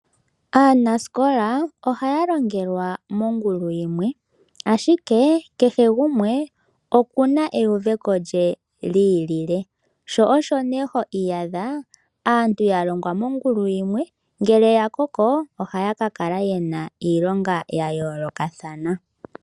Aanasikola ohaya longelwa mongulu yimwe, ashike kehe gumwe oku na euveko lye li ilile. Osho nduno ho adha aantu ya longelwa mongulu yimwe, ihe ngele ya koko ohaya ka kala ye na iilonga ya yoolokathana.